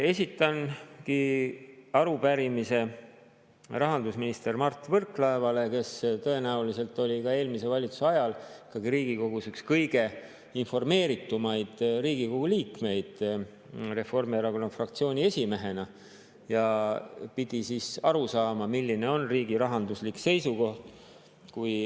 Esitangi arupärimise rahandusminister Mart Võrklaevale, kes tõenäoliselt oli eelmise valitsuse ajal siin Riigikogus üks kõige informeeritumaid Riigikogu liikmeid Reformierakonna fraktsiooni esimehena ja pidi siis aru saama, milline on riigi rahanduslik seis.